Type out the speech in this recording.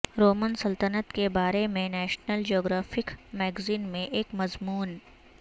Roman سلطنت کے بارے میں نیشنل جیوگرافک میگزین میں ایک مضمون